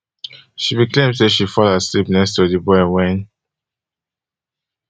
she bin claim say she fall asleep next to di boy wen